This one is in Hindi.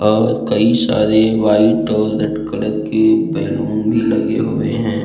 और कई सारे वाइट और रेड कलर के बैलून भी लगे हुए है।